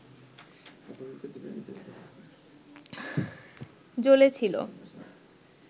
জ্বলে ছিল